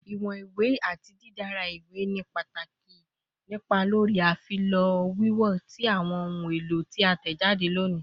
Iwọn iwe ati didara iwe ni pataki ni ipa lori afilọ wiwo ti awọn ohun elo ti a tẹjade loni